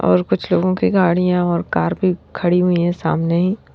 और कुछ लोगों की गाड़ियां और कार भी खड़ी हुई है सामने ही।